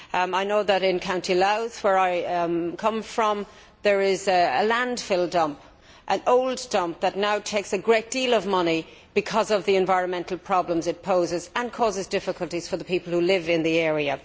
I know that in County Louth, where I come from, there is an old landfill dump that now soaks up a great deal of money because of the environmental problems it poses, and it also causes difficulties for the people who live in the area.